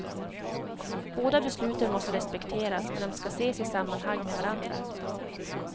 Båda besluten måste respekteras, men de ska ses i sammanhang med varandra.